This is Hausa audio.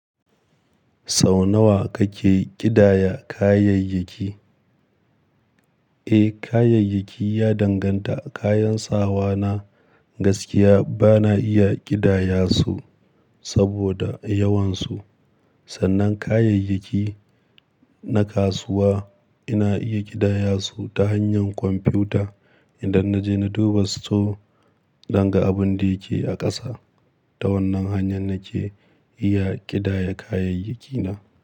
Sau nawa kake ƙidaya kayayyaki? Eh, kayayyaki ya danganta. Kayan sawa na, gaskiya bana iya ƙidaya su saboda yawansu. Sannan kayayyaki na kasuwa, ina iya ƙidaya su ta hanyar kwamfuta idan na je na duba store, dan ga abin da yake a ƙasa. Ta wannan hanyan nake iya ƙidaya kayayyakina.